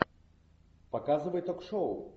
показывай ток шоу